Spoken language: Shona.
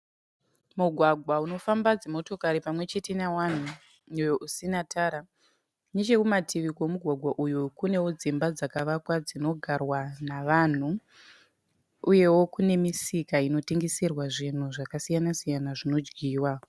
Mugwagwa unofamba dzimotokari pamwechete nevanhu uyo usina tara. Nechekumativi kwemugwagwa uyu kunewo dzimba dzinogara nevanhu uyewo kune musika unotengeserwa zvinhu zvakasiyana siyana zvinodyiwa.